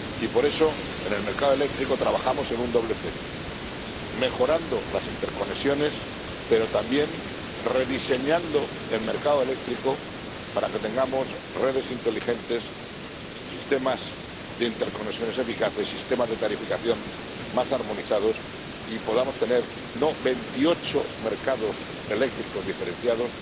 Y por eso en el mercado eléctrico trabajamos en un doble frente mejorando las interconexiones, pero también rediseñando el mercado eléctrico para que tengamos redes inteligentes, sistemas de interconexiones eficaces, sistemas de tarificación más armonizados, y podamos pasar de tener 28 mercados eléctricos diferenciados